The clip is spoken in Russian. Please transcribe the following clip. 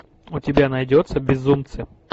у тебя найдется безумцы